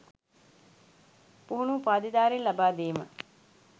පුහුණු උපාධිධාරීන් ලබා දීම